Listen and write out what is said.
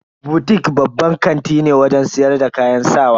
Butik babban kanti ne wajen siyar da kayan sawa.